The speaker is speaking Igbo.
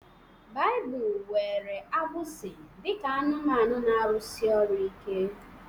Baịbụl were agbụsi dị ka anụmanụ na-arụsi ọrụ ike